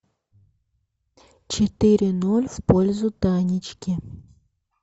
четыре ноль в пользу танечки